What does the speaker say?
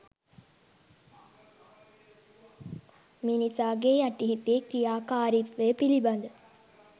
මිනිසාගේ යටි හිතේ ක්‍රියාකාරිත්වය පිළිබඳ